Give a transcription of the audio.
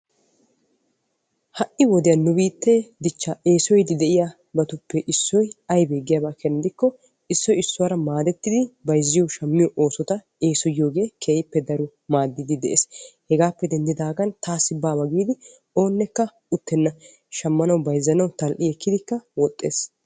Ha'i wodiyaan nu biittee dichchaa eesoyiidi de'iyaabatuppe issoy aybee giyaaba keena gidikko issoy issuwaara maadettidi bayzziyoo shammiyoo oosota eessoyiyoogee keehippe daro maaddiidi de'ees. hegaappe denddidaagan oonekka taassi baawa giidi uttenna bayzzanawu shammaawu woxxees.